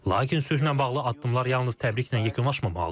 Lakin sülhlə bağlı addımlar yalnız təbriklə yekunlaşmamalıdır.